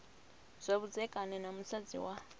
zwa vhudzekani na musadzi wa